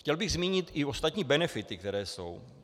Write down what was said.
Chtěl bych zmínit i ostatní benefity, které jsou.